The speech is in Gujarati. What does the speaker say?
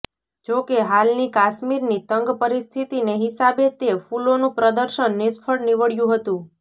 જોકે હાલની કાશ્મીરની તંગ પરિસ્થિતિને હિસાબે તે ફૂલોનું પ્રદર્શન નિષ્ફળ નીવડયું હતું